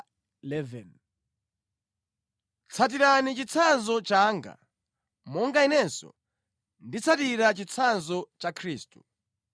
Tsatirani chitsanzo changa, monga inenso nditsatira chitsanzo cha Khristu.